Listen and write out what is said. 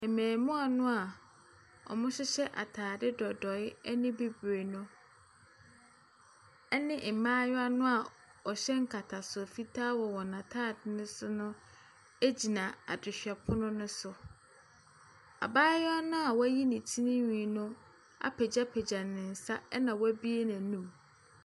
Mmɛmoa noa wɔhyehyɛ ataade dodoe ɛne bibre no ɔne mmaayewa noa ɔhyɛ nkataso fitaa wɔ wɔn ataade no so no egyina adehwɛpono no so. Abaayewa na wɔyi ne tirinhwii no apegyapegya ne nsa ɛna w'abue n'anum.